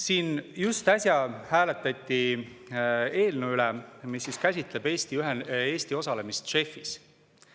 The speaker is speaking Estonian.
Siin just äsja hääletati eelnõu üle, mis käsitleb Eesti osalemist JEF-is.